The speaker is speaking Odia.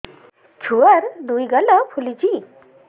ଛୁଆର୍ ଦୁଇ ଗାଲ ଫୁଲିଚି